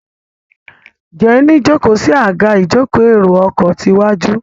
Jenny jókó sí Àga ìjókòó èrò ọkọ̀ tí waju.